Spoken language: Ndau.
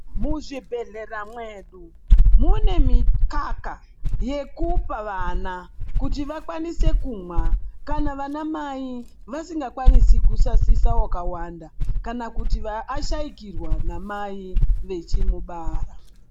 Muzvibhehlera mwedu mune mikaka yekupa vana kuti vakwanise kumwa kana vanamai vasingakwanisi kusasisa wakawanda, kana kuti ashaikirwa namai vechimubara.